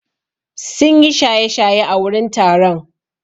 Sun yi shaye-shaye a wurin taron.